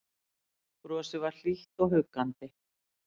Brosið var hlýtt og huggandi.